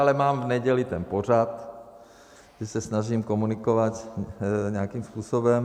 Ale mám v neděli ten pořad, kdy se snažím komunikovat nějakým způsobem.